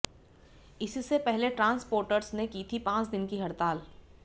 इससे पहले ट्रांस्पोटर्स ने की थी पांच दिन की हड़ताल